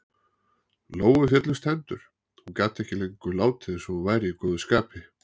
Lóu féllust hendur- hún gat ekki lengur látið eins og hún væri í góðu skapi.